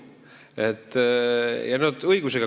Ja nad küsivad õigusega!